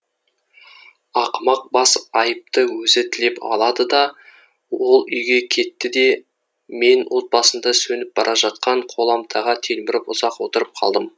ақымақ бас айыпты өзі тілеп алады да ол үйге кетті де мен от басында сөніп бара жатқан қоламтаға телміріп ұзақ отырып қалдым